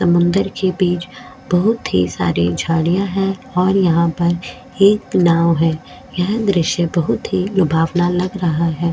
समुन्द्र के बीच बहुत ही सारे झाड़िया है और यहाँ पर एक नाँव है यह दृश्य बहुत ही लुभावना लग रहा है।